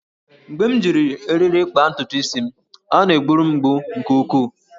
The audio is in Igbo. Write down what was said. Mgbe m ji eriri kpaa ntutu isi m, ọ na-gburu m mgbu nke ukwuu